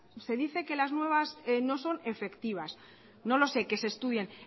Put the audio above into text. usted dice que las nuevas no son efectivas no lo sé que se estudien